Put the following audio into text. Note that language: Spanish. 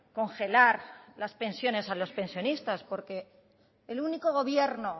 congelar las pensiones a los pensionistas porque el único gobierno